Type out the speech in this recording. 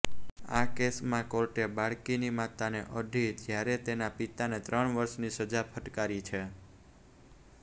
આ કેસમાં કોર્ટે બાળકીની માતાને અઢી જ્યારે તેના પિતાને ત્રણ વર્ષની સજા ફટકારી છે